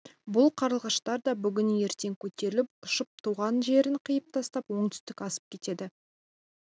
бұл қарлығаштар да бүгін-ертең көтеріліп ұшып туған жерін қиып тастап оңтүстік асып кетеді